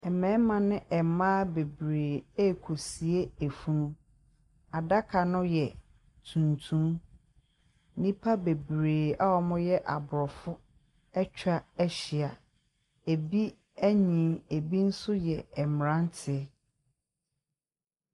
Mmarima ne mmaa bebree rek)sie afunu , adaka no y3 tuntum , nipa bebree a )mo y3 abor)fo atwa ahyia . Ebi anyini , ebi nso y3 mmratie.